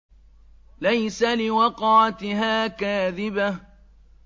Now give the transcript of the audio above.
لَيْسَ لِوَقْعَتِهَا كَاذِبَةٌ